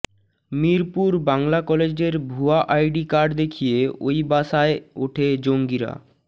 মিরপুর বাংলা কলেজের ভুয়া ID card দেখিয়ে ওই বাসায় ওঠে জঙ্গিরা